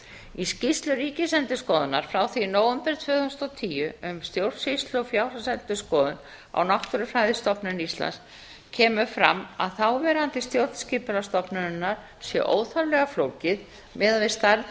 í skýrslu ríkisendurskoðunar frá í nóvember tvö þúsund og tíu um stjórnsýslu og fjárhagsendurskoðun á náttúrufræðistofnun íslands kemur fram að þáverandi stjórnskipulag stofnunarinnar sé óþarflega flókið miðað við stærð